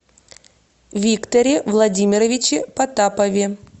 викторе владимировиче потапове